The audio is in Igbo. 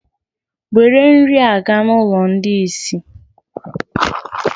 nwèrè nrị a ga na ụlọ ndi isé!